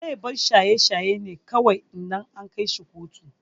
Zai bar shaye shaye ne kawai idan an kaishi kotu.